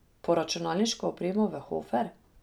Po računalniško opremo v Hofer?